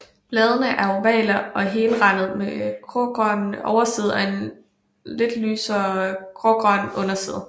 Bladene er ovale og helrandede med grågrøn overside og lidt lysere grågrøn underside